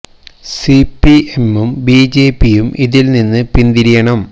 C P എമ്മും ബി ജെ പിയും ഇതില് നിന്ന് പിന്തിരിയണം